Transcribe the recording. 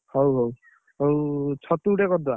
ହଉ ହଉ ଆଉ ଛତୁଟେ କରିଦବା।